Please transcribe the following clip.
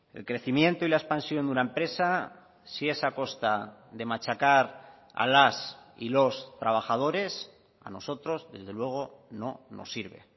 el crecimiento y la expansión de una empresa si es a costa de machacar a las y los trabajadores a nosotros desde luego no nos sirve